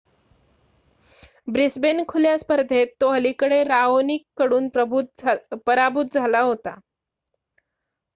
Brisbane खुल्या स्पर्धेत तो अलिकडे राओनिककडून पराभूत झाला होता